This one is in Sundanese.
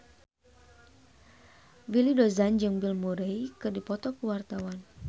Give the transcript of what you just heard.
Willy Dozan jeung Bill Murray keur dipoto ku wartawan